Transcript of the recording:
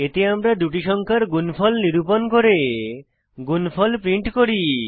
এতে আমরা দুটি সংখ্যার গুণফল নিরুপন করে গুনফল প্রদর্শন করি